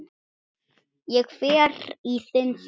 Ég fer í þinn stað